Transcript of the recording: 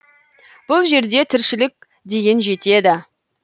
бұл жерде тіршілік деген жетеді